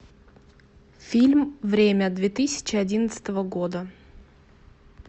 фильм время две тысячи одиннадцатого года